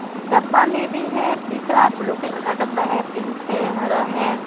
डब्बा में भी है दिख रहा है ब्लू कलर का डब्बा है पिंक है हरा है।